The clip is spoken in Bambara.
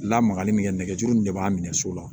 Lamagali min kɛ nɛgɛjuru in de b'a minɛ so la